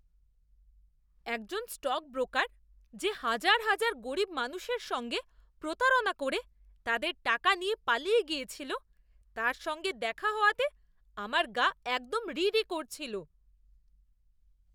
একজন স্টকব্রোকার, যে হাজার হাজার গরীব মানুষের সঙ্গে প্রতারণা করে তাদের টাকা নিয়ে পালিয়ে গিয়েছিল, তার সঙ্গে দেখা হওয়াতে আমার গা একদম রি রি করছিল।